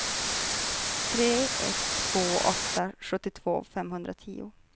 tre ett två åtta sjuttiotvå femhundratio